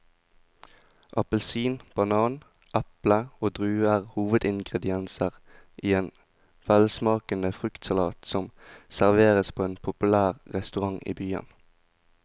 Appelsin, banan, eple og druer er hovedingredienser i en velsmakende fruktsalat som serveres på en populær restaurant i byen.